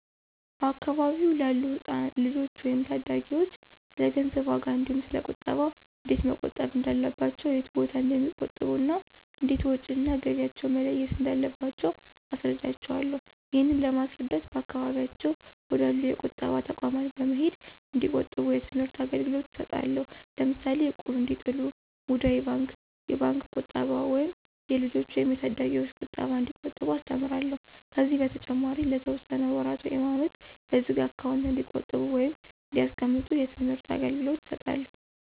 በአካባቢው ላሉ ልጆች ወይም ታዳጊዎች ስለገንዘብ ዋጋ እንዲሁ ስለ ቁጠባ እንዴት መቆጠብ እንዳለባቸው የት ቦታ እንደሚቆጥቡ እና እንዴት ወጭ እና ገቢያቸውን መለየት እንዳለባቸው አስረዳቸውአለሁ። ይህንን ለማስረዳት በአካባቢያቸው ወደ አሉ የቁጠባ ተቋማት በመሄድ እንዲቆጥቡ የትምህርት አገልግሎት እሰጣለሁ። ለምሳሌ እቁብ እንዲጥሉ፣ ሙዳይ ባንክ፣ የባንክ ቁጠባ ወይም የልጆች ወይም የታዳጊዎች ቁጠባ እንዲቆጥቡ አስተምራለሁ። ከዚህ በተጨማሪ ለተወሰነ ወራት ውይም አመት በዝግ አካውንት እንዲቆጥቡ ወይም እንዲያስቀምጡ የትምህርት አገልገሎት እሰጣለሁ።